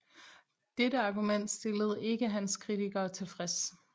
Dette argument stillede ikke hans kritikere tilfreds